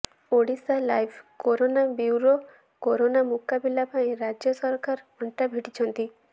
Odisha live corona bureau corona ମୁକାବିଲା ପାଇଁ ରାଜ୍ୟ ସରକାର ଅଣ୍ଟା ଭିଡ଼ିଛନ୍ତି